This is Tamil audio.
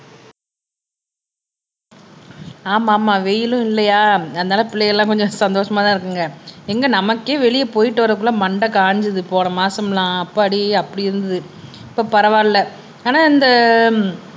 ஆமாம்மா வெயிலும் இல்லையா அதனால பிள்ளைகள் எல்லாம் கொஞ்சம் சந்தோஷமாதான் இருக்குங்க எங்க நமக்கே வெளிய போயிட்டு வரதுக்குள்ள மண்டை காஞ்சது போன மாசமெல்லாம் அப்பாடி அப்படி இருந்தது இப்ப பரவாயில்லை ஆனா இந்த